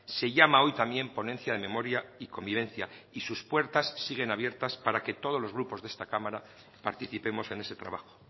se llama hoy también ponencia de memoria y convivencia y sus puertas siguen abiertas para que todos los grupos de esta cámara participemos en ese trabajo